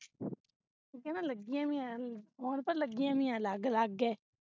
ਉਹਨੇ ਕਹਿਣਾ ਲਗੀਆਂ ਵੀ ਏਹ ਨੂੰ phone ਪਰ ਲਗੀਆਂ ਵੀ ਏਹ ਅਲਗ ਲਗ ਹੈ